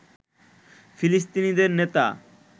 ফিলিস্তিনিদের নেতা